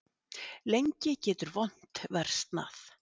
Lengi getur vont versnað.